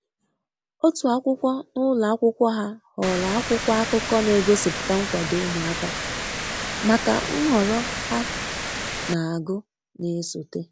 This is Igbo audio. Otu akwụkwo n'ulo akwụkwo ha họọrọ akwụkwo akụkọ na-egosiputa nkwado ụmụaka maka nhọrọ ha na-agu na esote.